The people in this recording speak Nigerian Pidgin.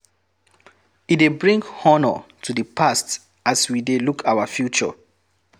E de bring honor to the past as we de look our future